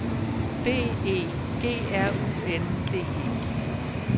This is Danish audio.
B E G R U N D E